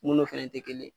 Mun n'o fɛnɛ tɛ kelen ye